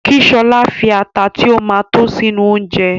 Kí Ṣọlá fi ata tí ó ma tó sínú oúnjẹ